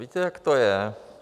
Víte, jak to je?